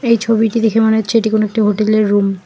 এই ছবিটি দেখে মনে হচ্ছে এটি কোন একটি হোটেলের রুম ।